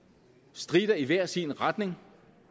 stritter i hver sin retning